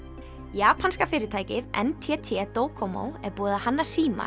japanska fyrirtækið n t t er búið að hanna síma